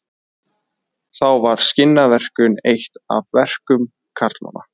Þá var skinnaverkun eitt af verkum karlmanna.